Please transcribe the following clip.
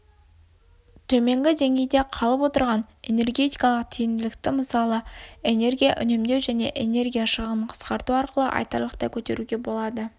төменгі деңгейді қалып отырған энергетикалық тиімділікті мысалы энергия үнемдеу және энергия шығынын қысқарту арқылы айтарлықтай көтеруге болады